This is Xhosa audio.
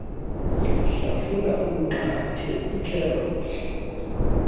hlafuna umnqathe ikherothi